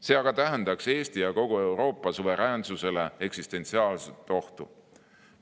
See aga tähendaks Eesti ja kogu Euroopa suveräänsusele eksistentsiaalset ohtu.